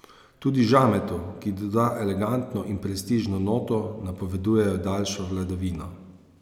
Tudi žametu, ki doda elegantno in prestižno noto, napoveduje daljšo vladavino.